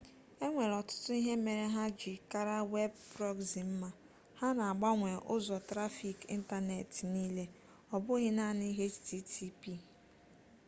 enwere ọtụtụ ihe mere ha ji kara web prọgzi mma ha na-agbanwe ụzọ trafik ịntanetị niile ọ bụghị naanị http